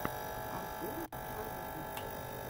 артур шарифов